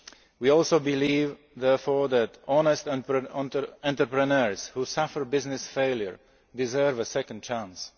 We also believe, therefore, that honest entrepreneurs who suffer business failure deserve a second chance.